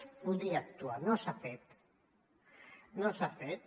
es podia actuar no s’ha fet no s’ha fet